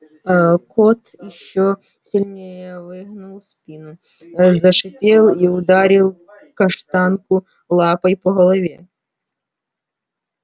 аа кот ещё сильнее выгнул спину ээ зашипел и ударил каштанку лапой по голове